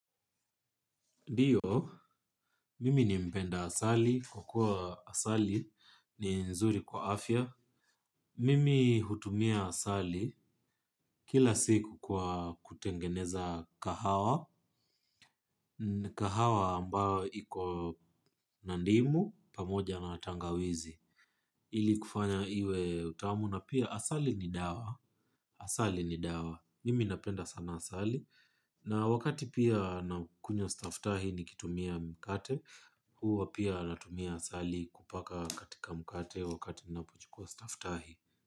Ndo, mimi ni mpenda asali, kwa kuwa asali ni nzuri kwa afya. Mimi hutumia asali kila siku kwa kutengeneza kahawa, kahawa ambayo iko na ndimu pamoja na tangawizi. Ili kufanya iwe utamu na pia asali ni dawa, asali ni dawa. Mimi napenda sana asali. Na wakati pia nakunywa stafftahi nikitumia mkate. Huwa pia natumia asali kupaka katika mkate wakati ninapochukua staftahi.